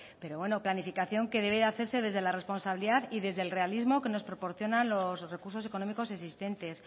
pero bueno planificación que debe de hacerse desde la responsabilidad y desde el realismo que nos proporcionan los recursos económicos existentes